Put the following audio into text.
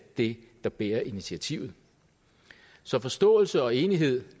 det der bærer initiativet så forståelse og enighed